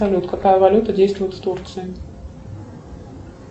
салют какая валюта действует в турции